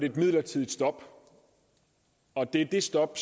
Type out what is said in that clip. et midlertidigt stop og det stop